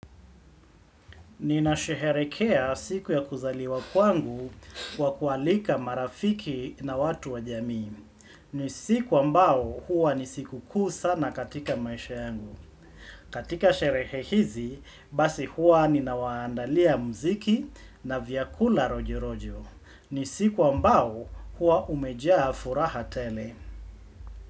Ninasheherekea siku ya kuzaliwa kwangu kwa kualika marafiki na watu wa jamii. Ni siku ambao huwa ni sikukuu sana katika maisha yangu. Katika sherehe hizi, basi huwa ninawaandalia mziki na vyakula rojo rojo. Nisiku ambao huwa umejaa furaha tele.